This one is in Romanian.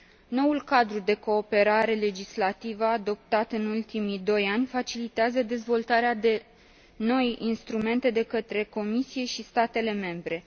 Noul cadru de cooperare legislativă, adoptat în ultimii doi ani, facilitează dezvoltarea de noi instrumente de către Comisie și statele membre.